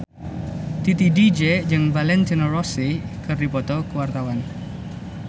Titi DJ jeung Valentino Rossi keur dipoto ku wartawan